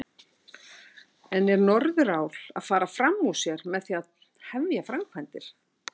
En er Norðurál að fara fram úr sér með því að hefja framkvæmdir?